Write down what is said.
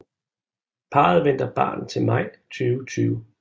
Parret venter barn til maj 2020